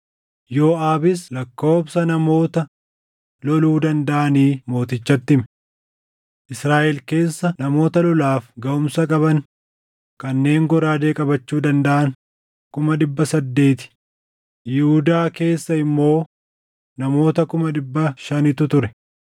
Yooʼaabis lakkoobsa namoota loluu dandaʼanii mootichatti hime; Israaʼel keessa namoota lolaaf gaʼumsa qaban kanneen goraadee qabachuu dandaʼan kuma dhibba saddeeti, Yihuudaa keessa immoo namoota kuma dhibba shanitu ture.